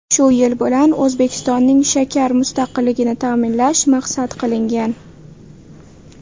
Shu yo‘l bilan O‘zbekistonning shakar mustaqilligini ta’minlash maqsad qilingan .